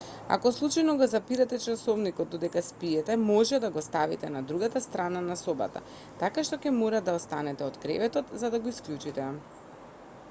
ако случајно го запирате часовникот додека спиете може да го ставите на другата страна на собата така што ќе мора да станете од креветот за да го исклучите